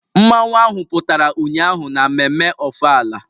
Mmanwu ahụ pụtara ụnyaahụ na mmemme ofala